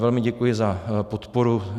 Velmi děkuji za podporu.